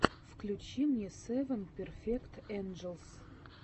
включи мне севен перфект энджелс